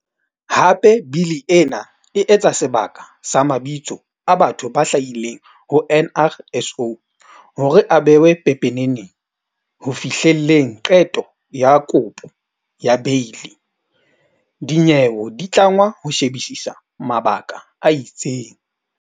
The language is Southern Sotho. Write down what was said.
Hape Bili ena e etsa sebaka sa mabitso a batho ba hlahileng ho NRSO hore a behwe pepeneneng. Ho fihlelleng qeto ya kopo ya beili, dinyewe di tlangwa ho she-bisisa mabaka a itseng.